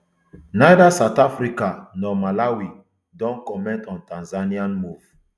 neither south africa nor malawi don comment on tanzania move